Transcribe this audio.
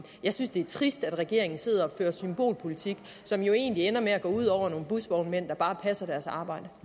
jeg synes det er trist at regeringen sidder og fører symbolpolitik som jo egentlig ender med at gå ud over nogle busvognmænd der bare passer deres arbejde